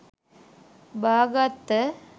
බා ගත්ත.